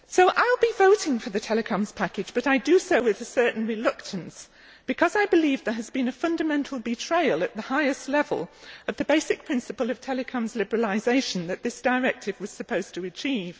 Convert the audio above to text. I will be voting for the telecoms package, but I do so with a certain reluctance, because I believe there has been a fundamental betrayal, at the highest level, of the basic principle of the telecoms liberalisation that this directive was supposed to achieve.